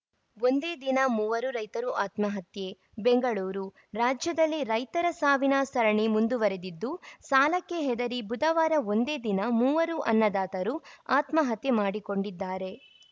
ಒಂದೇ ದಿನ ಮೂವರು ರೈತರು ಆತ್ಮಹತ್ಯೆ ಬೆಂಗಳೂರು ರಾಜ್ಯದಲ್ಲಿ ರೈತರ ಸಾವಿನ ಸರಣಿ ಮುಂದುವರೆದಿದ್ದು ಸಾಲಕ್ಕೆ ಹೆದರಿ ಬುಧವಾರ ಒಂದೇ ದಿನ ಮೂವರು ಅನ್ನದಾತರು ಆತ್ಮಹತ್ಯೆ ಮಾಡಿಕೊಂಡಿದ್ದಾರೆ